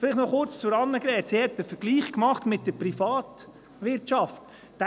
Vielleicht noch kurz zu Grossrätin Hebeisen: Sie hat einen Vergleich mit der Privatwirtschaft gemacht.